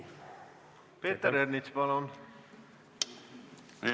Peeter Ernits, palun!